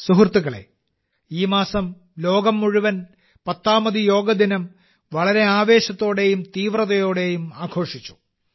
സുഹൃത്തുക്കളേ ഈ മാസം ലോകം മുഴുവൻ പത്താമത് യോഗ ദിനം വളരെ ആവേശത്തോടെയും തീവ്രതയോടെയും ആഘോഷിച്ചു